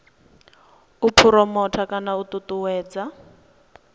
u phuromotha kana u ṱuṱuwedza